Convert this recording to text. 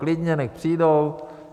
Klidně, nechť přijdou.